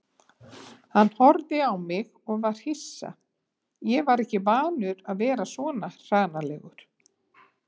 Hann horfði á mig og var hissa, ég var ekki vanur að vera svona hranalegur.